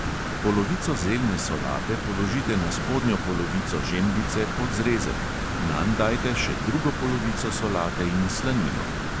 Polovico zeljne solate položite na spodnjo polovico žemljice pod zrezek, nanj dajte še drugo polovico solate in slanino.